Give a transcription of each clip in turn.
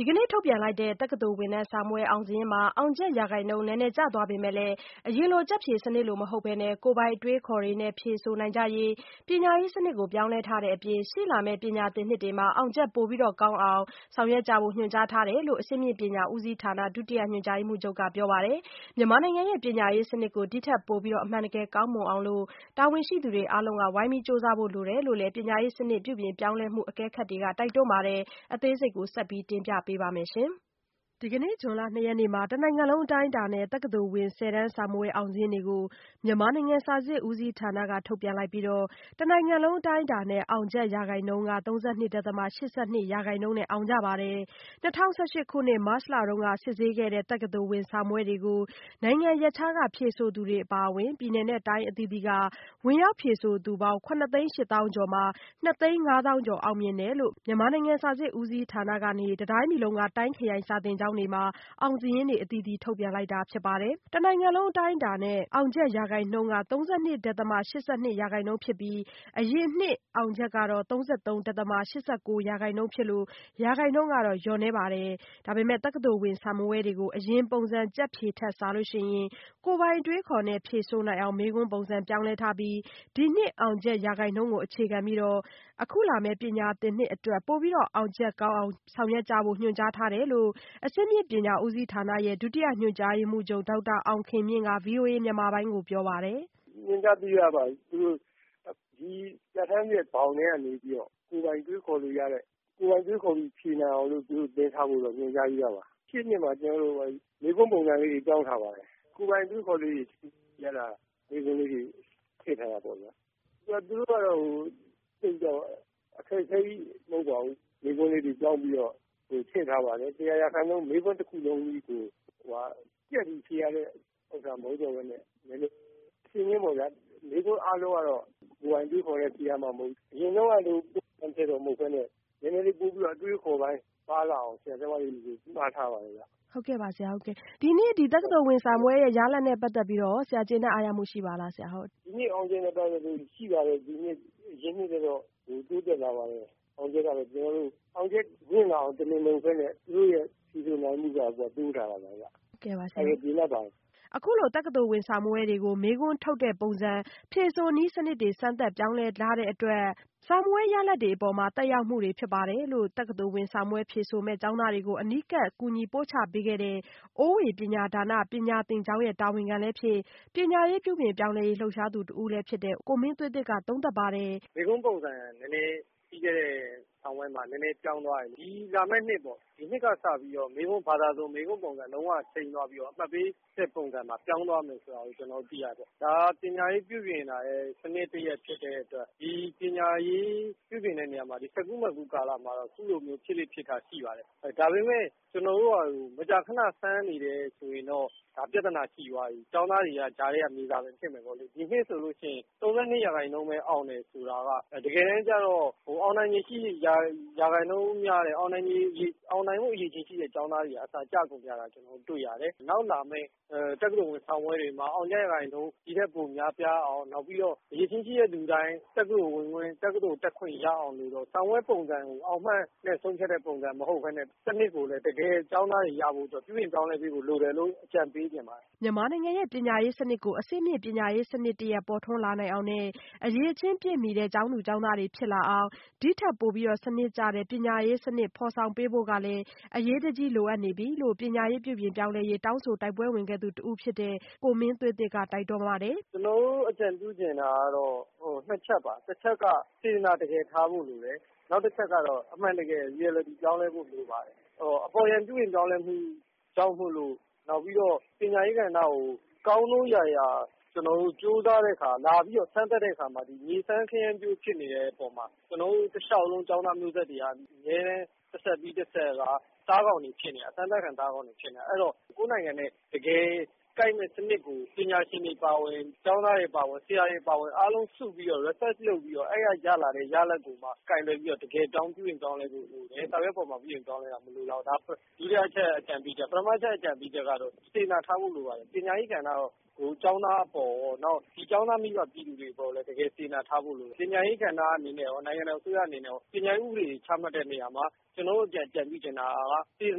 ဒီကနေ့ ထုတ်ပြန်တဲ့ တက္ကသိုလ်ဝင်တန်းစာမေးပွဲအောင်စာရင်းမှာ အောင်ချက်ရာခိုင်နှုန်း နည်းနည်းကျသွား ပေမဲ့လည်း အရင်ကျက်ဖြေစနစ်လို မဟုတ်ဘဲ ကိုယ်ပိုင်အတွေးအခေါ်တွေနဲ့ ဖြေဆိုနိုင်ကြရေး ပညာရေးစနစ်ကို ပြောင်းလဲထားတဲ့အပြင် ရှေ့လာမယ့် ပညာသင်နှစ်တွေမှာ အောင်ချက်ပိုကောင်းနိုင်ဖို့ ညွှန်ကြားထားတယ်လို့ အဆင့်မြင့်ပညာဦးစီးဌာနက ဒုညွှန်ကြားရေးမှူးချုပ်က ပြောပါတယ်။ မြန်မာနိုင်ငံရဲ့ ပညာရေးစနစ်ကို ဒီ့ထက်ပိုပြီး အမှန်တကယ်ကောင်းမွန်အောင် တာဝန်ရှိသူအားလုံးက ကြိုးစားဖို့လိုတယ်လို့ ပညာရေးစနစ် ပြုပြင်ပြောင်းလဲမှုတွေကို အကဲခတ်တွေက တိုက်တွန်းပါတယ်။ အသေးစိတ်ကို မဆုမွန်က တင်ပြထားပါတယ်။ ဒီကနေ့ ဇွန်လ ၂ ရက်နေ့မှာ တနိုင်ငံလုံးအတိုင်းအတာနဲ့ တက္ကသိုလ်ဝင် ဆယ်တန်းစာမေးပွဲ အောင်စာရင်း တွေကို မြန်မာနိုင်ငံ စာစစ်ဦးစီး ဌာနက ထုတ်ပြန်လိုက်ပြီး တနိုင်ငံလုံးအတိုင်းအတာနဲ့ အောင်ချက်ရာခိုင်နှုန်း ၃၂.၈၂ ရာခိုင်နှုန်းနဲ့ အောင်ကြပါတယ်။ ၂၀၁၈ ခုနှစ် မတ်လက စစ်ဆေးခဲ့တဲ့ တက္ကသိုလ်ဝင်စာမေးပွဲကို နိုင်ငံရပ်ခြားက ဖြေဆိုသူတွေအပါအဝင် ပြည်နယ်နဲ့တိုင်းအသီးသီးက ဝင်ရောက်ဖြေဆိုသူပေါင်း ၇ သိန်း ၈ သောင်းကျော်မှာ ၂ သိန်း ၅ သောင်းကျော် အောင်မြင်ကြောင်း မြန်မာနိုင်ငံစာစစ်ဦးစီးဌာနကနေ တတိုင်း ပြည်လုံးက တိုင်းခရိုင် စာသင်ကျောင်းတွေမှာ အောင်စာရင်းတွေ အသီးသီးထုတ်ပြန်လိုက်ပါတယ်။ တနိုင်ငံလုံးအတိုင်းအတာနဲ့ အောင်ချက်ရာခိုင်နှုန်းက ၃၂. ၈၂ ရာခိုင်နှုန်းဖြစ်ပြီး အရင်နှစ် အောင်ချက် ဖြစ်လို့ ရာခိုင်နှုန်းလျော့နည်းပါတယ်။ ဒါပေမဲ့ တက္ကသိုလ်ဝင်စာမေးပွဲတွေကို အရင်ပုံစံကျက်ဖြေ စနစ်ထက်စာရင် ကိုယ့်ကိုယ်ပိုင်အတွေးအခေါ်နဲ့ ဖြေဆိုနိုင်အောင် မေးခွန်းပုံစံပြောင်းလဲထားပြီး ဒီနှစ်အောင်ချက်ရာခိုင်နှုန်းကို အခြေခံပြီး အခုလာမယ့် ပညာသင်နှစ်အတွက် ပိုပြီးအောင်ချက်ကောင်းအောင် ဆောင်ရွက်ကြဖို့ ညွှန်ကြားထားတယ်လို့လည်း အဆင့်မြင့်ပညာဦးစီးဌာနရဲ့ ဒုတိယညွှန်ကြားရေးမှူးချုပ် ဒေါက်တာအောင်ခင်မြင့်က ဗွီအိုအေမြန်မာပိုင်းကိုပြောပါတယ်။ “ညွှန်ကြားပေးထားပါတယ်။ ပြဌာန်းချက်ဘောင်ထဲကနေပြီးတော့ ကိုယ်ပိုင်တွေးခေါ်လို့ရတဲ့၊ ကိုယ်ပိုင်တွေးခေါ်ပြီးဖြေနိုင်အောင်လို့ သူတို့သင်ထားဖို့တော့ ညွှန်ကြားပြီးသားပါ။ ရှေ့နှစ်မှာ မေးခွန်းပုံစံလေးတွေ ပြောင်းထားပါတယ်။ ကိုယ်ပိုင်အတွေးအခေါ်လေးတွေ..မေးခွန်းလေးတွေ ထည့်ထားတာပေါ့ဗျာ။ သိပ်တော့ အခက်ခဲကြီးမဟုတ်ပါဘူး။ မေးခွန်းလေးတွေပြောင်းပြီးတော့ ထည့်ထားပါတယ်။ ၁၀၀ % မေးခွန်းတခုလုံးကြီးကို ကျက်ပြီးဖြေရတဲ့ဟာ မဟုတ်တော့ဘဲနဲ့ - မေးခွန်းအားလုံးကတော့ ကိုယ်ပိုင်အတွေးအခေါ်နဲ့ဖြေရမှာမဟုတ်ဘူး။ အရင်တုန်းကလို….မဟုတ်ဘဲနဲ့ ကိုယ်ပိုင်အတွေးအခေါ်ပါလာအောင် ဆရာဆရာမတွေကို ညွှန်ကြားထားပါတယ်ဗျ။” မေး။ ။ ဟုတ်ကဲ့ပါ ဆရာ့၊ ဟုတ်ကဲ့ပါ။ ဒီနေ့ တက္ကသိုလ်ဝင်စာမေးပွဲရဲ့ရလဒ်နဲ့ပတ်သက်ပြီးတော့ရော ဆရာ ကျေနပ်အားရမှု ရှိပါသလား။ ဖြေ။ ။ ဒီနေ့ အောင်ချက်နဲ့ပတ်သက်လို့ရှိပါတယ်။ ဒီနှစ်က အရင်နှစ်ထက်တော့ တိုးတက်လာပါတယ်။ အောင်ချက်မြင့်လာအောင် တမင်မလုပ်ဘဲနဲ့ သူတို့ရဲ့ဖြေဆိုနိုင်မှုက တိုးလာတာပါဗျ။ ကျေနပ်ပါတယ်။ အခုလို တက္ကသိုလ်ဝင်စာမေးပွဲတွေကို မေးခွန်းထုတ်တဲ့ပုံစံ ဖြေဆိုနည်းစနစ်တွေ စမ်းသပ် ပြောင်းလဲတဲ့အတွက် စာမေးပွဲရလာဒ်တွေအပေါ် သက်ရောက်မှုဖြစ်ပါတယ်လို့ တက္ကသိုလ်ဝင်စာမေးပွဲဖြေဆိုမယ့်ကျောင်းသားတွေကို အနီးကပ်ကူညီပို့ချပေးခဲ့တဲ့ အိုးဝေပညာဒါန ပညာသင်ကျောင်းရဲ့ တာဝန်ခံလည်းဖြစ် ပညာရေးပြုပြင်ပြောင်းလဲရေးလှုပ်ရှားသူတဦးလည်းဖြစ်တဲ့ ကိုမင်းသွေးသစ်က သုံးသပ်ပါတယ်။ “ပြီးခဲ့တဲ့စာမေးပွဲမှာ မေးခွန်းပုံစံ နည်းနည်းပြောင်းသွားတယ်။ လာမယ့်နှစ်၊ ဒီနှစ်ကစပြီး မေးခွန်းပုံစံ လုံးဝချိန်းသွားပြီးတော့ အမှတ်ပေးစနစ်ပါ ပြောင်းသွာမယ်ဆိုတာ သိရတယ်။ ဒါ ပညာရေးပြုပြင်တာရဲ့ စနစ်သစ်ဖြစ်တဲ့အတွက် ဒီ ပညာရေးပြုပြင်တဲ့ကာလမှာ စပ်ကူးမတ်ကူးကာလမှာ ဖြစ်လေ့ဖြစ်ထ ရှိပါတယ်။ ဒါပေမယ့် မကြာခန စမ်းနေတယ်ဆိုရင်တော့ ပြဿနာရှိသွားပြီ။ ကျောင်းသားတွေက ကြားထဲက မြေစာပင်ဖြစ်မယ်ပေါ့လေ။ ဒီနှစ်ဆိုလို့ရှိရင် ၃၂ % ပဲအောင်တယ်ဆိုတာက တကယ်တန်းက အောင်နိုင်ဖို့ အရည်အချင်းရှိတဲ့ကျောင်းသားတွေကအစ ကျကုန်ကြတာ တွေ့ရတယ်။ နောက် လာမယ့် တက္ကသိုလ်ဝင်စာမေးပွဲတွေမှာ အောင်ချက် ရာခိုင်နှုန်း ဒီထက်ပိုများပြားအောင်၊ ပြီးတော့ အရည်အချင်းရှိတဲ့သူတိုင်း တက္ကသိုလ်ဝင်ခွင့်၊ တက္ကသိုလ်တက်ခွင့်ရအောင် စာမေးပွဲပုံစံကို အောင်မှတ်နဲ့ ဆုံးဖြတ်တဲ့ပုံစံမဟုတ်ဘဲနဲ့ စနစ်ကိုလည်း တကယ်ကျောင်းသားတွေရဖို့အတွက် ပြုပြင်ပြောင်းလဲပေးဖို့ လိုတယ်လို့ အကြံပေးချင်ပါတယ်။” မြန်မာနိုင်ငံရဲ့ ပညာရေးစနစ်ကို အဆင့်မြင့်ပညာရေးစနစ်တရပ်ပေါ်ထွန်းလာနိုင်အောင်နဲ့ အရည်အချင်းပြည့်မှီတဲ့ ကျောင်းသူကျောင်းသားတွေဖြစ်လာအောင် ဒီ့ထက်ပိုပြီး စနစ်ကျတဲ့ ပညာရေးစနစ်ေ ဖာ်ဆောင်ပေးဖို့ ကလည်း အရေးတကြီးလိုအပ်နေပြီလို့လည်း ပညာရေးပြုပြင်ပြောင်းလဲရေးတောင်းဆိုတိုက်ပွဲဝင်ခဲ့သူတဦးဖြစ်တဲ့ ကိုမင်းသွေးသစ်က တိုက်တွန်းပါတယ်။ “ကျနော်တို့ အကြံပြုချင်တာကတော့ နှစ်ချက်ပါ။ တချက်က ်စေတနာတကယ် ထားဖို့လိုတယ်။ နောက်တချက်က အမှန်တကယ် reality ပြောင်းလဲဖို့လိုပါတယ်။ အပေါ်ယံပြုပြင်ပြောင်းလဲမှုကြောင့်မို့လို့ နောက်ပြီးတော့ ပညာရေးကဏ္ဍကို ကောင်းနိုးရာရာ ကျနော်တို့ကြိုးစားတဲ့အခါ လာပြီးတော့ စမ်းသပ်တဲ့အခါမှာ မြေစမ်းခရမ်းပျိုး စမ်းသပ်တဲ့အပေါ်မှာ ကျနော်တို့ တလျှောက်လုံး ကျောင်းသားမျိုးဆက်တွေက အမြဲတမ်း တဆက်ပြီးတဆက်က သားကောင်တွေဖြစ်နေရတယ်။ အစမ်းသပ်ခံ သားကောင်တွေဖြစ်နေတယ်။ အဲဒီတော့ ကိုယ့်နိုင်ငံနဲ့ တကယ်ကိုက်မယ့်စနစ်ကို ပညာရှင်တွေအပါအဝင်၊ ကျောင်းသားတွေအပါအဝင်၊ ဆရာတွေအပါအဝင် အားလုံးစုပြီးတော့၊ research လုပ်ပြီးတော့ အဲဒီက ရလာတဲ့ရလဒ်ကိုမှ ကိုင်တွယ်ပြီးတော့ တကယ် ပြုပြင်ပြောင်းလဲဖို့လိုတယ်။ စာရွက်ပေါ်မှာ ပြုပြင်ပြောင်းလဲတာကို မလိုလားဘူး။ ဒါက ဒုတိယအချက် အကြံပြုချက်။ ပထမအချက် အကြံပြုချက်ကတော့ စေတနာထားဖို့ လိုပါတယ်။ ပညာရေးကဏ္ဍကိုရော၊ ကျောင်းသားအပေါ်ရော၊ နောက်ပြီးတော့ ကျောင်းသားမိဘ ပြည်သူတွေအပေါ်လည်း တကယ်လည်း စေတနာထားဖို့လိုတယ်။ ပညာရေးကဏ္ဍအနေနဲ့ရော၊ နိုင်ငံတော်အစိုးရအနေနဲ့ရော ပညာရေးဥပဒေတွေ ချမှတ်တဲ့နေရာမှာ ကျနော်တို့အကြံပြုချင်တာက စေတ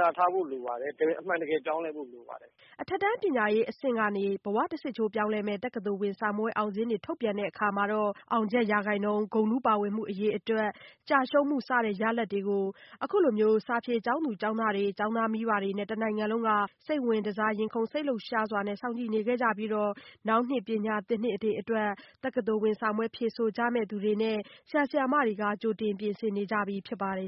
နာထားဖို့လိုပါတယ်။ အမှန်တကယ် ပြောင်းလဲဖို့လိုပါတယ်။” အထက်တန်းပညာရေးအဆင့်ကနေတဆင့် ဘဝတဆစ်ချိုး ပြောင်းလဲမယ့် တက္ကသိုလ်ဝင်စာမေးပွဲ အောင်စာရင်းတွေ ထုတ်ပြန်တဲ့အခါ အောင်ချက်ရာခိုင်နှုန်း၊ ဂုဏ်ထူးပါဝင်မှု အရေအတွက်၊ ကျရှုံးမှုစတဲ့ ရလာဒ်တွေကို အခုလို စာဖြေကျောင်းသူကျောင်းသားတွေ၊ ကျောင်းသားမိဘတွေနဲ့ တနိုင်ငံလုံးက စိတ်ဝင်တစား ရင်ခုန်စိတ်လှုပ်ရှားစွာ စောင့်ကြည့်နေခဲ့ကြတာဖြစ်ပြီး နောင်နှစ်ပညာသင်နှစ်တွေအတွက် တက္ကသိုလ်ဝင် စာမေးပွဲဖြေဆိုကြမယ့်သူတွေကလည်း ကြိုတင်ပြင်ဆင်နေကြဖြစ်ပါတယ်